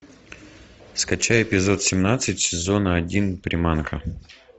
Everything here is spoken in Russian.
скачай эпизод семнадцать сезона один приманка